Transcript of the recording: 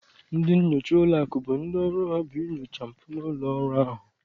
Ndị nnyocha ụlọakụ bụ ndị ọrụ ha bụ inyochapụta mpụ n'ụlọọrụ ahụ.